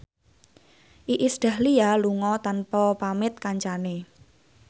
Iis Dahlia lunga tanpa pamit kancane